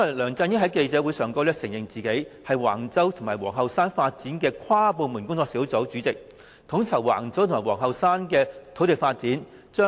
梁振英在記者會上承認出任橫洲及皇后山發展的跨部門工作小組主席，統籌橫洲及皇后山的土地發展。